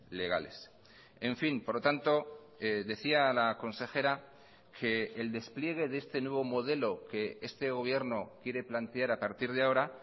legales en fin por lo tanto decía la consejera que el despliegue de este nuevo modelo que este gobierno quiere plantear a partir de ahora